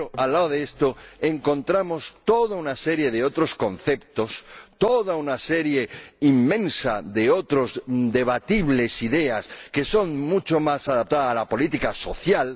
Pero, al lado de esto, encontramos toda una serie de otros conceptos, toda una serie inmensa de otras ideas debatibles, mucho más adaptadas a la política social.